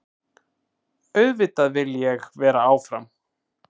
Auðvitað vil ég vera áfram.